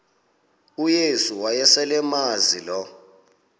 uyesu wayeselemazi lo